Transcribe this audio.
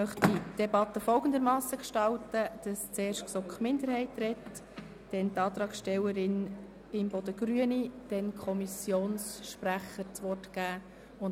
Ich möchte die Debatte so gestalten, dass ich das Wort zuerst der GSoK-Minderheit und danach der Antragstellerin der Grünen erteilen werde, gefolgt von den Kommissionssprechenden.